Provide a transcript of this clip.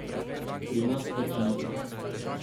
Pri nas pač niso.